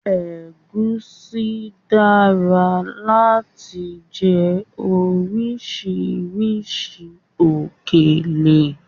Ẹ̀gúsí dára láti fi jẹ orisirisi òkèlè